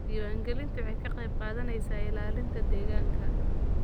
Diiwaangelintu waxay ka qayb qaadanaysaa ilaalinta deegaanka.